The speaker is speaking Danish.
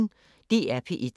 DR P1